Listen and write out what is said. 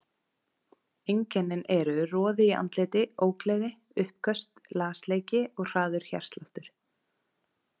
Einkennin eru roði í andliti, ógleði, uppköst, lasleiki og hraður hjartsláttur.